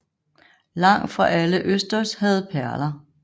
Langt fra alle østers havde perler